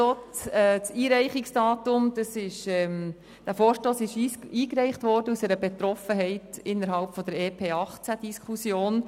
Am Einreichungsdatum sehen Sie, dass dieser Vorstoss aus einer Betroffenheit innerhalb der Diskussion um das Entlastungspaket (EP) 2018 hervorgegangen ist.